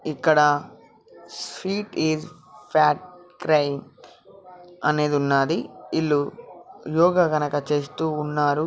ఇక్కడ sweat is fat crying అనేది ఉన్నాది ఇల్లు యోగ గనక చేస్తూ ఉన్నారు